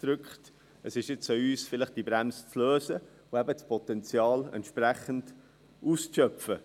Es ist nun an uns, diese Bremse vielleicht zu lösen und das Potenzial entsprechend auszuschöpfen.